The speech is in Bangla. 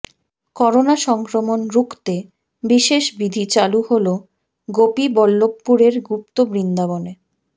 করোনা সংক্রমণ রুখতে বিশেষ বিধি চালু হল গোপীবল্লভপুরের গুপ্ত বৃন্দাবনে